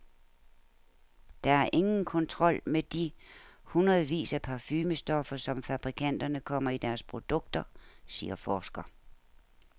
Der er ingen kontrol med de hundredvis af parfumestoffer, som fabrikanterne kommer i deres produkter, siger forsker.